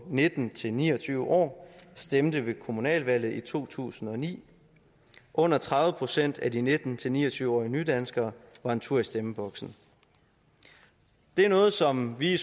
nitten til ni og tyve år stemte ved kommunalvalget i to tusind og ni under tredive procent af de nitten til ni og tyve årige nydanskere var en tur i stemmeboksen det er noget som vi i